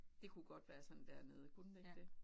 Det kunne godt være sådan dernede kunne det ikke det?